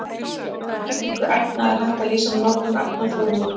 Uppbyggingu efna er hægt að lýsa með nokkrum efnaformúlum.